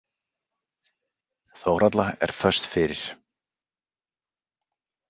Þórhalla er föst fyrir.